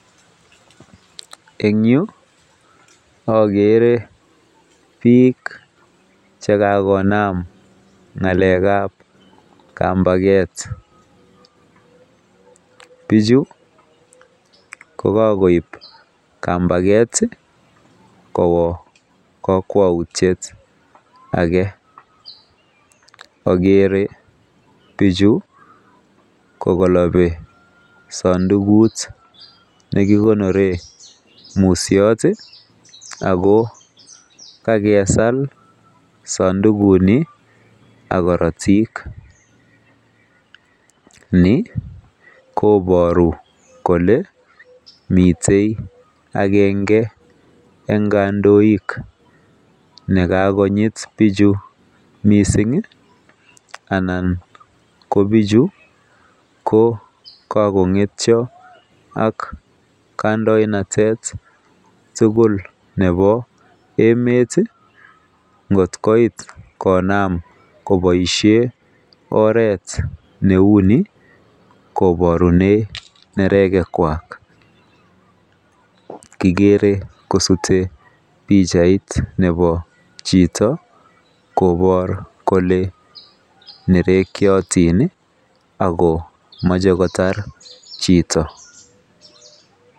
En Yu agere bik chekakonam ngalek ab kambaket bichu kokakoib kambaket Kowa kakwautit age agere bichu kokanabi sandukut nekikonoren musyot ako kakesal sandukut Ni ak Karatik ako Ni kobaru Kole mitei agenge en kandoik nekakonyit bichu mising anan kobichubkokakongetyo ak kandoenatet tugul Nebo emet kotkoit konam kobaishen oret neuni kobarunen nereket Kwak igere kisute bichait Nebo Chito kobar Kole merekyotinbakomache kotar Chito